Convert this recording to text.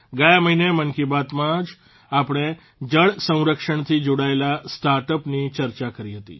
ગયા મહિને મન કી બાતમાં જ આપણે જળસંરક્ષણથી જોડાયેલા સ્ટાર્ટઅપની ચર્ચા કરી હતી